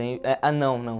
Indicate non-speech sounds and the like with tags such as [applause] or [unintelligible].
[unintelligible] Ah, não, não.